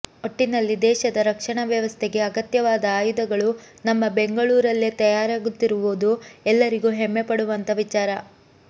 ಒಟ್ಟಿನಲ್ಲಿ ದೇಶದ ರಕ್ಷಣಾ ವ್ಯವಸ್ಥೆಗೆ ಅಗತ್ಯವಾದ ಆಯುಧಗಳು ನಮ್ಮ ಬೆಂಗಳೂರಲ್ಲೇ ತಯಾರಾಗುತ್ತಿರುವುದು ಎಲ್ಲರಿಗೂ ಹೆಮ್ಮೆಪಡುವಂಥ ವಿಚಾರ